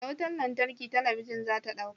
Da wutar lantarki talabijin za ta dauka.